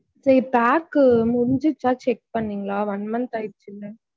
சேரி pack க்கு முடிஞ்சிருச்சா check பண்ணிங்களா one month ஆயிருச்சு இல்ல.